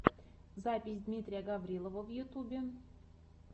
запись дмитрия гаврилова в ютюбе